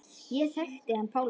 Ég þekkti hann Pálma.